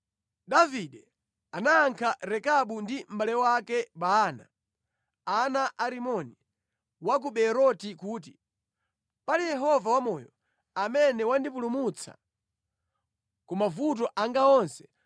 Davide anayankha Rekabu ndi mʼbale wake Baana, ana a Rimoni wa ku Beeroti kuti, “Pali Yehova wamoyo, amene wandipulumutsa ku mavuto anga onse,